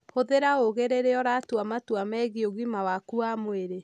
Hũthĩra ũũgĩ rĩrĩa ũratua matua megiĩ ũgima waku wa mwĩrĩ.